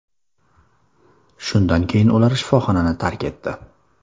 Shundan keyin ular shifoxonani tark etdi.